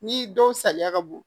Ni dɔw saliya ka bon